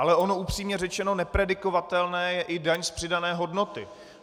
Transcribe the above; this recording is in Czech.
Ale ono, upřímně řečeno, nepredikovatelná je i daň z přidané hodnoty.